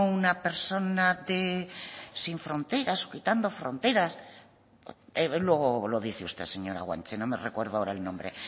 una persona de sin fronteras o quitando fronteras luego lo dice usted señora guanche no me recuerdo ahora el nombre